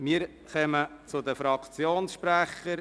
Wir kommen zu den Fraktionssprechern.